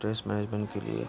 stress management के लिए --